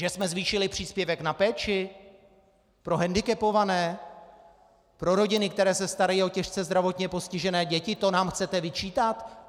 Že jsme zvýšili příspěvek na péči pro hendikepované, pro rodiny, které se starají o těžce zdravotně postižené děti, to nám chcete vyčítat?